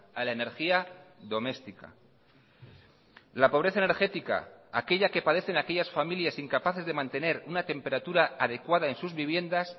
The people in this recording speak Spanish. a la energía doméstica la pobreza energética aquella que padecen aquellas familias incapaces de mantener una temperatura adecuada en sus viviendas